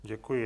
Děkuji.